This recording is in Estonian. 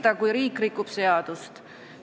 Sa näed ja sa ei mürista ...